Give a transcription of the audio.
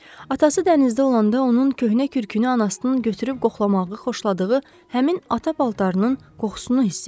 Atası dənizdə olanda onun köhnə kürkünü anasının götürüb qoxlamağı xoşladığı həmin ata paltarının qoxusunu hiss etdi.